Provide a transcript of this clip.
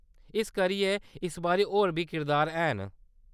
इस करियै इस बारी होर बी किरदार हैन।